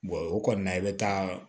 o kɔni na i bɛ taa